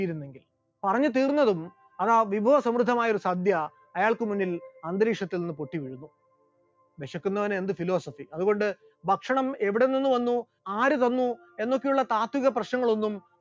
പറഞ്ഞു തീർന്നതും അതാ വിഭവസമൃദ്ധമായ സദ്യ അയാൾക്ക് മുന്നിൽ അന്തരീക്ഷത്തിൽ നിന്നും പൊട്ടിവീണു, വിശക്കുന്നവന് എന്ത് philosophy, അതുകൊണ്ട് ഭക്ഷണം എവിടെ നിന്ന് വന്നു, ആര് തന്നു എന്നുള്ള താത്വിക പ്രശ്‌നങ്ങൾ ഒന്നും